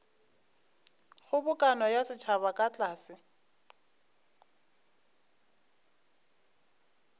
kgobokano ya setšhaba ka tlase